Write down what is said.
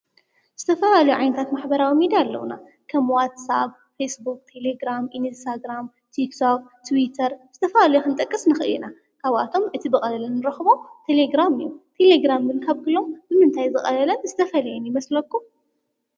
ዝተፋላለዩዮ ዓየነታት ማሐበራዊ ሚድያ ኣለዉና፡፡ ከም ዋትስኣብ ፣ፌስቡክ፣ ቴሌግራም፣ ኢኔስታ ግራም፣ ቲክቶክ ትዊተር ዝተፈላለዮ ኽንጠቅስ ንኽአለ ኢና፡፡ ካብኣቶም እቲ ብቐሊሉንረኽቦ ቴሌግራም እዩ፡፡ ቴሌግራም ክንብል ከለና ካብ ክሎም ብምንታይ ዝቐለለን ዝተፈልየን ይመስለኩም?